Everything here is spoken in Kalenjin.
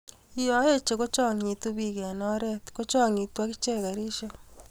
yo eche, kochangit biik eng emet kochangitu agiche karishek